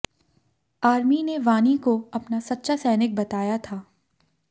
army ने वानी को अपना सच्चा सैनिक बताया था